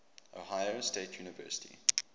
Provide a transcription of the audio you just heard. ohio state university